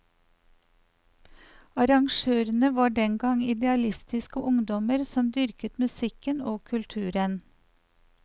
Arrangørene var den gang idealistiske ungdommer som dyrket musikken og kulturen.